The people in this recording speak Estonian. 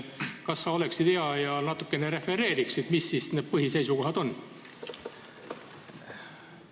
Kas sa oleksid hea ja natukene refereeriksid, mis need põhiseisukohad on?